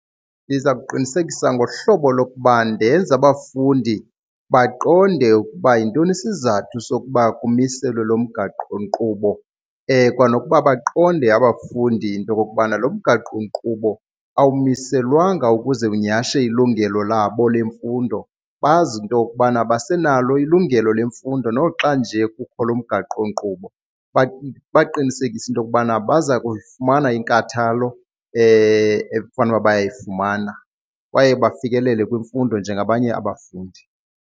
Ndiza kuqinisekisa ngohlobo lokuba ndenze abafundi baqonde ukuba yintoni isizathu sokuba kumiselwe lo mgaqonkqubo kwanokuba baqonde abafundi into okokubana lo mgaqonkqubo awumiselwanga ukuze unyhashe ilungelo labo lemfundo, bazi into yokubana basenalo ilungelo lemfundo noxa nje kukho lo mgaqonkqubo. Ndibaqinisekise into yokubana baza kuyifumana inkathalo efanuba bayayifumana kwaye bafikelele kwimfundo njengabanye abafundi.